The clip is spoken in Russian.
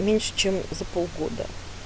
меньше чем за полгода